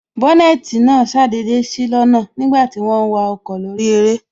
Bónètī náà ṣàdédé sí lọ́nà nígbàti wọ́n ń wa ọkọ̀ lórí eré